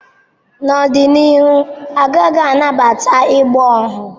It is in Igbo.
N'ọdịnihu, a gaghị anabata ịgba ohu